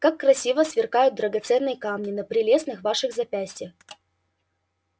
как красиво сверкают драгоценные камни на прелестных ваших запястьях